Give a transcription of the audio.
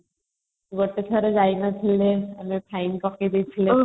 ଗୋଟେ ଥର ଯାଇ ନଥିଲେ ମାନେ fine ପକେଇ ଦେଇଥିଲେ |